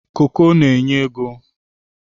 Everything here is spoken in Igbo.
koko n'enye ego.